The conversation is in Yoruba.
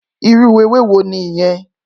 Irú éwé wó niyèn?